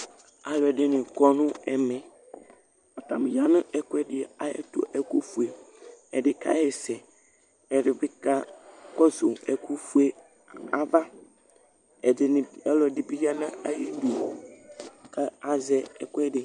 Alʋɛdìní kɔ nʋ ɛmɛ Atani ya nʋ ɛkʋɛdi ayʋ ɛtu, ɛku fʋe Ɛdí kaɣɛsɛ Ɛdí bi kakɔsu ɛku fʋe ava Ɔlʋɛdi bi ya nʋ ayʋ idu kʋ azɛ ɛkʋɛdi